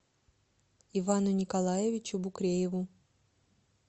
ивану николаевичу букрееву